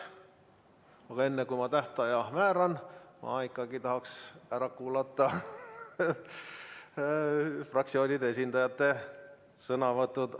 Aga enne, kui ma tähtaja määran, ma ikkagi tahaks ära kuulata fraktsioonide esindajate sõnavõtud.